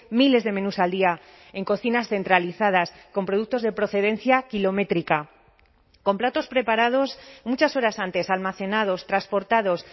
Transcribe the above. miles de menús al día en cocinas centralizadas con productos de procedencia kilométrica con platos preparados muchas horas antes almacenados transportados